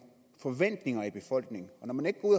forventninger i befolkningen når man ikke går